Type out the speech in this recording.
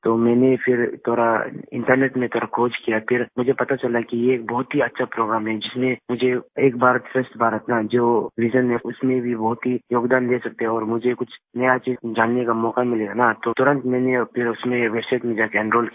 तो मैंने फिर थोड़ा इंटरनेट में खोज किया फिर मुझे पता चला कि ये बहुत ही अच्छा प्रोग्राम है जिसने मुझे एक भारत श्रेष्ठ भारत का जो visionहै उसमें भी बहुत ही योगदान दे सकते हैं और मुझे कुछ नया चीज़ जानने का मौका मिलेगा ना तो तुरंत मैंने फिर उसमें वेबसाइट में जाके एनरोल किया